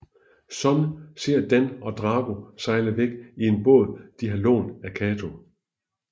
Shun ser Dan og Drago sejle væk i en båd de har lånt af Kato